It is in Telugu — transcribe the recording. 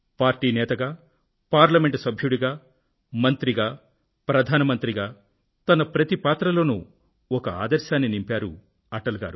పార్టీ నేతగా పార్లమెంట్ సభ్యుడిగా మంత్రిగా ప్రధాన మంత్రిగా తన ప్రతి పాత్రలోనూ ఒక ఆదర్శాన్ని నింపారు అటల్ గారు